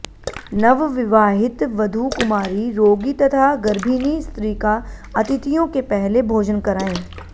नवविवाहित वधू कुमारी रोगी तथा गर्भिणी स्त्री का अतिथियों के पहले भोजन करायें